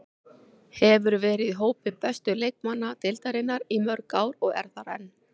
Hefur verið í hópi bestu leikmanna deildarinnar í mörg ár og er þar enn.